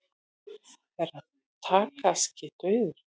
Herra Takashi dauður!